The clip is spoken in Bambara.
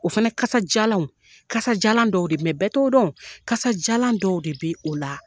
O fana kasajalanw kasajalan dɔw do bɛɛ t'o dɔn kasajalan dɔw de bɛ o la.